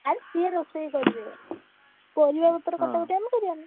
ଆଉ ସିଏ ରୋଷେଇ କରିବେ। ପରିବାପତ୍ର ଆମେ କରିଆନି।